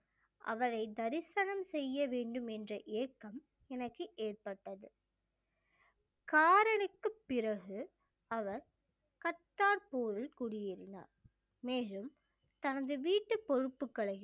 அவரை தரிசனம் செய்ய வேண்டும் என்ற ஏக்கம் எனக்கு ஏற்பட்டது காரருக்கு பிறகு அவர் கருத்தார்பூரில் குடியேறினார் மேலும் தனது வீட்டு பொறுப்புகளையும்